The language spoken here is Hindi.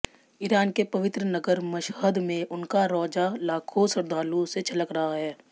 ईरान के पवित्र नगर मशहद में उनका रौज़ा लाखों श्रृद्धालुओं से छलक रहा है